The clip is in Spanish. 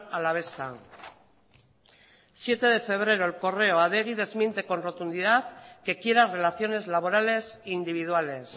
alavesa siete de febrero el correo adegi desmiente con rotundidad que quiera relaciones laborales individuales